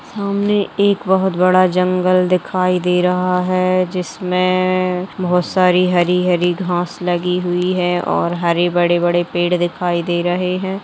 सामने एक बहोत बड़ा जंगल दिखाई दे रहा हैं जिसमें बहोत सारी हरी-हरी घाँस लगी हुई हैं और हरे बड़े-बड़े पेड़ दिखाई दे रहे हैं।